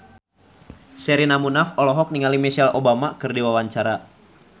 Sherina Munaf olohok ningali Michelle Obama keur diwawancara